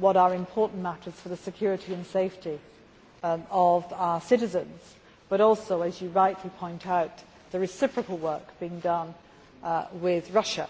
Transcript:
what are important matters for the security and safety of our citizens but also, as you rightly point out, the reciprocal work being done with Russia.